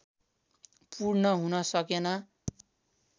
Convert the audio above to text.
पूर्ण हुन सकेन